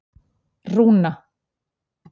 Rúna